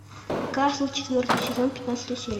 касл четвертый сезон пятнадцатая серия